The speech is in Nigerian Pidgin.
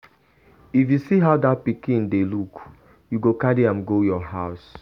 If you see how dat pikin dey look, you go carry am go your house.